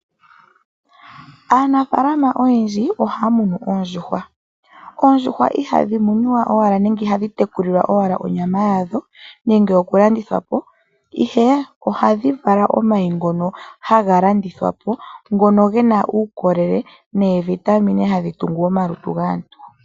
Aanafaalama oyendji ohaya munu oondjuhwa. Oondjuhwa ihadhi munwa owala nenge ihadhi tekulilwa owala onyama yadho nenge oku landithwa Po, ihe ohadhi vala omayi ngono haga landithwa po ngono gena uukolele neevitamine hadhi tungu omalutu gaantu.